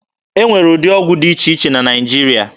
E nwere ụdị ọgwụ dị iche iche na Naịjirịa.